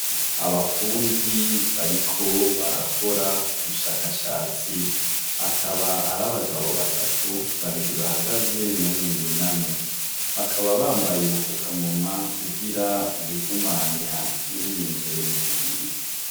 Abafundi bariko barakora ubushakashatsi akaba ari abagabo batatu babiri bahagaze n'umwe yunamye bakaba bambaye i bufukamumwa kugira ibihumanya ntibibinje mu mubiri.